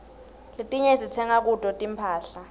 letinye sitsenga kuto tinphahla